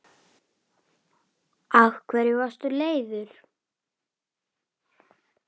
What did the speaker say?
Ása brosir líka.